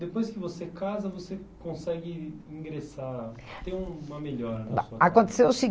depois que você casa, você consegue ingressar, ter uma melhora na sua casa? Aconteceu o